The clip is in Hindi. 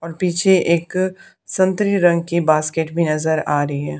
और पीछे एक संतरी रंग की बास्केट भी नजर आ रही है।